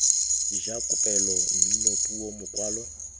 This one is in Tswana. ja kopelo mmino puo mokwalo